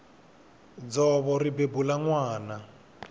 dzovo ri bebula nwana